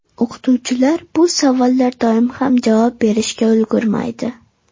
O‘qituvchilar bu savollar doim ham javob berishga ulgurmaydi.